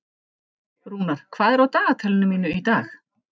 Rúnar, hvað er á dagatalinu mínu í dag?